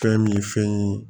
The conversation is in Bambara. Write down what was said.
Fɛn min ye fɛn ye